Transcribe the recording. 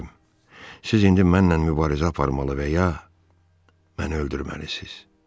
Siz indi mənlə mübarizə aparmalı və ya məni öldürməlisiniz.